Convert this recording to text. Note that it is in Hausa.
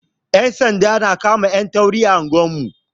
Yan sanda su na kama 'yan tauri a anguwar mu.